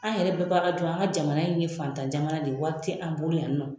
An yɛrɛ an ka jamana in ye fatan jamana de ye wari yɛ an bolo yan nɔ.